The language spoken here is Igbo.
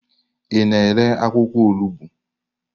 Ị na-ere akwụkwọ olugbo?